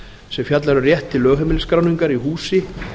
sem fjallar um rétt til lögheimilisskráningar í húsi